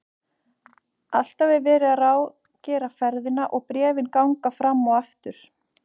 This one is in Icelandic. Alltaf er verið að ráðgera ferðina og bréfin ganga fram og aftur.